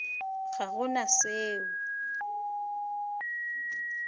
ga go na se o